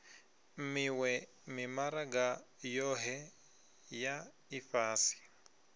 miwe mimaraga yohe ya ifhasi